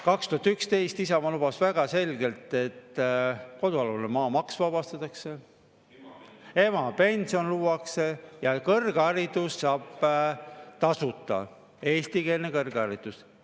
2011 lubas Isamaa väga selgelt, et vabastatakse kodualuse maa maksust, emapension luuakse ja kõrgharidust saab tasuta, eestikeelset kõrgharidust.